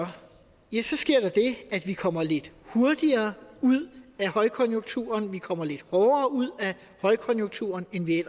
sker der det at vi kommer lidt hurtigere ud af højkonjunkturen vi kommer lidt hårdere ud af højkonjunkturen end vi